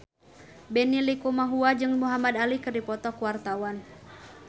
Benny Likumahua jeung Muhamad Ali keur dipoto ku wartawan